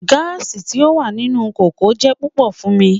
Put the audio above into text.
Gaasi ti o wa ninu koko jẹ pupọ fun mi